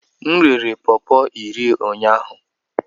M rere pọọpo iri ụnyahụ.